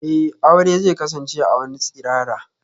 Eh, aure zai kasance a wani tsirara.